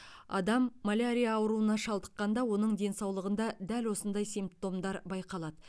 адам малярия ауруына шалдыққанда оның денсаулығында дәл осындай симптомдар байқалады